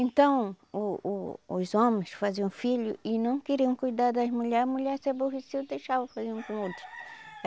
Então, o o os homens faziam filho e não queriam cuidar das mulher, a mulher se aborrecia e deixava fazer um com o outro.